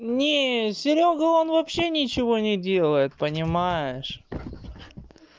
мне серёга он вообще ничего не делает понимаешь